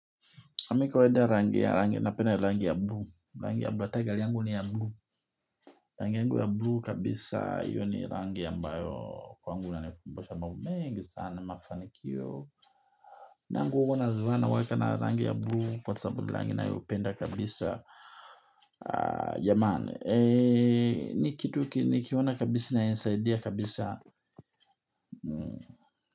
Nami napenda rangi ya bluu, rangi ya bluu hata gari yangu ni ya bluu. Rangi yangu ya bluu kabisa hiyo rangi ambayo kwangu inanikumbusha mbamu mengi sana mafanikio. Nangu huwa nazinunua naweka nayo rangi ya bluu kwa sababu ni rangi nayopenda kabisa. Jamani ee ni kitu nikiona kabisa ni yanisaidia kabisa.